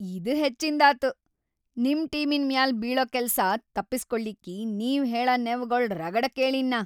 ಇದ್‌ ಹೆಚ್ಚಿಂದಾತು! ನಿಮ್‌ ಟೀಮಿನ್‌ ಮ್ಯಾಲ್‌ ಬೀಳ ಕೆಲ್ಸಾ ತಪ್ಪಸ್ಕೊಳ್ಳಿಕ್ಕಿ ನೀವ್‌ ಹೇಳ ನೆವಗೊಳ್‌ ರಗಡ ಕೇಳೀನ್ ನಾ.